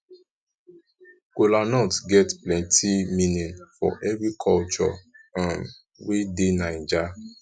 kolanut get plenti meaning for evri koture um wey dey naija